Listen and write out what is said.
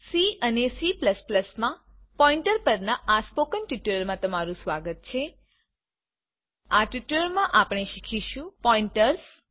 C અને C માં pointer પરના સ્પોકન ટ્યુટોરીયલમાં તમારું સ્વાગત છે આ ટ્યુટોરીયલમાં આપણે શીખીશું પોઈન્ટર્સ